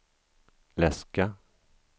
läska